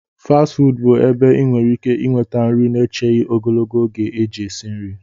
fasti fuudu bụ ebe ị nwere ike nweta nri na-echeghị ogologo oge eji esi nri